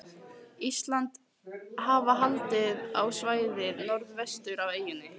Íslandi, hafa haldið á svæðið norðvestur af eyjunni.